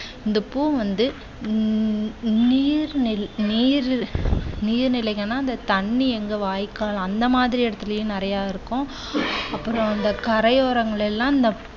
இந்த பூ வந்து உம் நீர் நில் நீர் நீர் நிலைகள் எல்லாம் அந்தத் தண்ணீர் எங்கே வாய்க்கால் அந்த மாதிரி இடத்திலும் நிறைய இருக்கும். அப்புறம் வந்து கரையோரங்கள் எல்லாம் இந்த